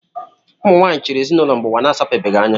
Ụmụ nwaanyị chịrị ezinaụlọ mgbe ụwa na-asapebeghị anya